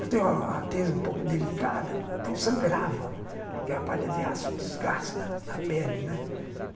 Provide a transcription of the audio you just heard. Eu tenho a um pouco delicada, então sangrava, porque a palha de aço desgasta a pele, né.